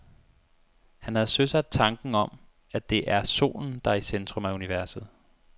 Han havde søsat tanken om, at det er solen, der er i centrum af universet.